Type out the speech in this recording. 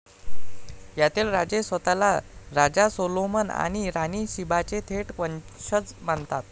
यातील राजे स्वतःला राजा सोलोमन आणि राणी शीबाचे थेट वंशज मानत.